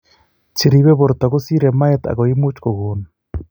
Cheribe borto kosire moet ago imuch ko gon